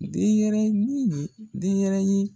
Den yɛrɛnin den yɛrɛyin